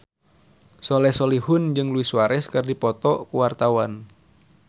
Soleh Solihun jeung Luis Suarez keur dipoto ku wartawan